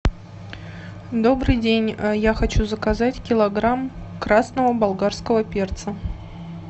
добрый день я хочу заказать килограмм красного болгарского перца